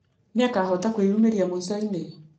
Nĩakahota kũĩumereria ....mũishoinĩ?